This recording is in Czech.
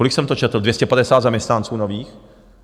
Kolik jsem to četl - 250 zaměstnanců nových?